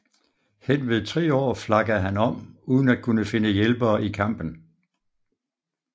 Henved 3 år flakkede han om uden at kunne finde hjælpere i kampen